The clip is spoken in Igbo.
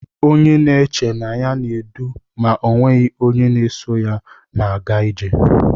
Onye na-eche na ọ na-edu ma ọ nweghị onye na-eso ya na-aga ije.